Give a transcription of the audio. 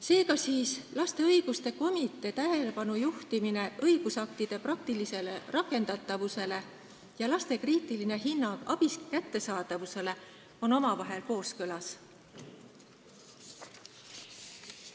Seega, lapse õiguste komitee tähelepanu juhtimine õigusaktide praktilisele rakendatavusele ja laste kriitiline hinnang abi kättesaadavusele on omavahel kooskõlas.